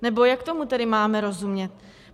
Nebo jak tomu tedy máme rozumět?